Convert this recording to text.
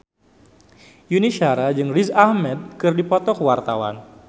Yuni Shara jeung Riz Ahmed keur dipoto ku wartawan